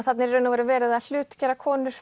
þarna er í raun og veru verið að hlutgera konur